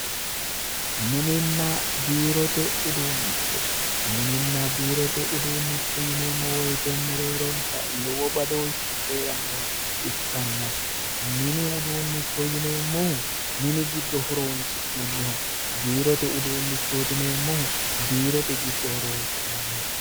mininna biirote uduunnicho yineemmo woyite mereeronsa lowo badooshshi heerannoha ikkanna mini uduunnicho yineemmohu mini giddo horonsi'nanniho biirote uduunnichooti yineemmohu biirote giddo horonsi'nanniho.